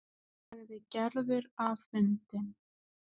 sagði Gerður afundin.